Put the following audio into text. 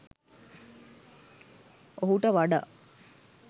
ඔහුට වඩා